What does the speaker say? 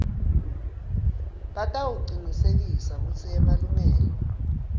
batawucinisekisa kutsi emalungelo